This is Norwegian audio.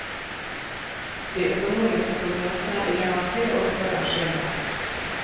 De økonomiske prognosene ligger nå tre år foran skjemaet.